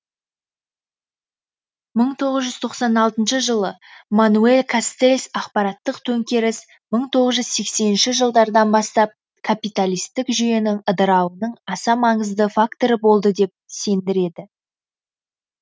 мың тоғыз жүз тоқсан алтыншы жылы мануэль кастельс ақпараттық төңкеріс мың тоғыз жүз сексенінші жылдардан бастап капиталистік жүйенің ыдырауының аса маңызды факторы болды деп сендіреді